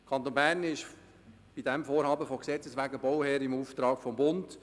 Der Kanton Bern ist bei diesem Vorhaben von Gesetzes wegen Bauherr im Auftrag des Bundes.